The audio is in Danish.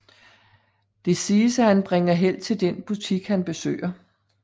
Det siges at han bringer held til den butik han besøger